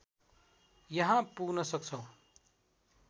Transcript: यहाँ पुग्न सक्छौं।